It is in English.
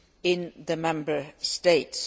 in the Member States.